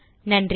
நன்றி